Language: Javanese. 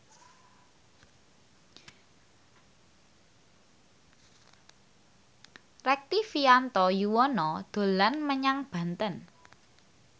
Rektivianto Yoewono dolan menyang Banten